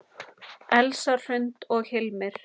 Elsa Hrund og Hilmir.